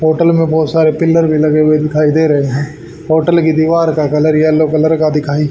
hotel में बहोत सारे पिलर भी लगे हुए दिखाई दे रहे हैं होटल की दीवार का कलर येलो कलर का दिखाई --